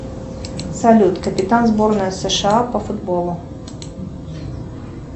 салют капитан сборной сша по футболу